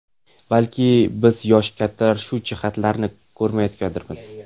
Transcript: Balki, biz yoshi kattalar shu jihatlarni ko‘rmayotgandirmiz.